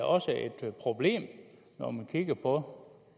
også et problem når man kigger på